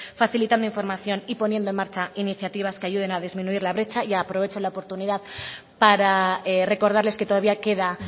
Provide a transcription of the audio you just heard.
facilitando información y poniendo en marcha iniciativas que ayuden a disminuir la brecha y aprovecho la oportunidad para recordarles que todavía queda